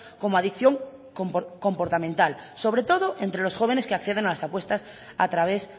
como adicción comportamental sobre todo entre los jóvenes que acceden a las apuestas a través